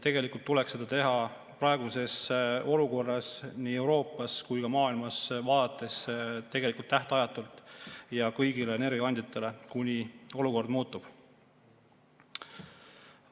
Tegelikult tuleks seda teha praeguses olukorras nii Euroopasse kui ka maailmasse vaadates tegelikult tähtajatult ja kõigile energiakandjatele, kuni olukord muutub.